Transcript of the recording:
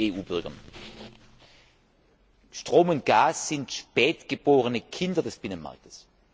EU Bürgern. Strom und Gas sind spät geborene Kinder des Binnenmarkts.